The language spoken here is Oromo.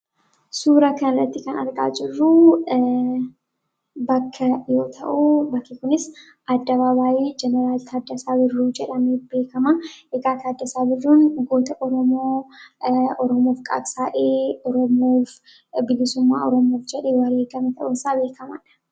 suura kanlatti kan arqaa jirruu bakka yoo ta'uu bakka kunis adda babaayee jenaraalti addasaa birruu jedhame beekamaa igaaka addasaa birruun goota oromoof qaabsaa'ee roomoof bigisummaa oromoof jedhe waleegame ta'usaa beekamaadha